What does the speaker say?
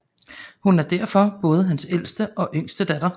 Hun er derfor både hans ældste og yngste datter